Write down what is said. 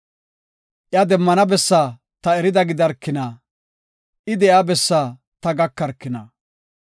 Iya demmana bessaa ta erida gidarkina; I de7iya bessaa ta gakarkina!